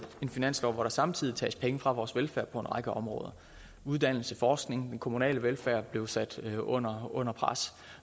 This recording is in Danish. en finanslov hvor der samtidig tages penge fra vores velfærd på en række områder uddannelse forskning den kommunale velfærd blev sat under under pres